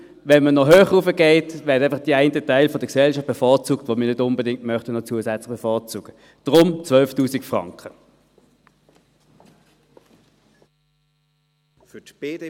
Wenn man noch höher raufgeht, wird einfach der Teil der Gesellschaft bevorzugt, den wir nicht unbedingt noch zusätzlich bevorzugen möchten.